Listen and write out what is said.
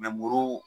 muru